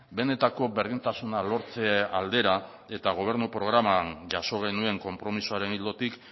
benetako berdintasuna lortze aldera eta gobernu programan jaso genuen konpromisoaren ildotik